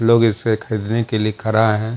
लोग इसपे खरीदने के लिए खड़ा हैं।